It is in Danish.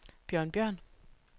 Bjørn Bjørn